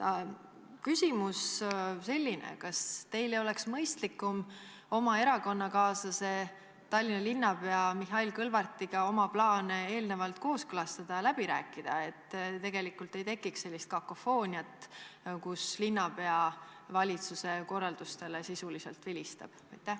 Küsimus on selline: kas teil ei oleks mõistlikum oma erakonnakaaslase Tallinna linnapea Mihhail Kõlvartiga oma plaane eelnevalt kooskõlastada ja läbi rääkida, et ei tekiks sellist kakofooniat, kus linnapea valitsuse korraldustele sisuliselt vilistab?